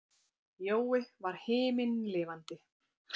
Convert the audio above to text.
Jói var himinlifandi.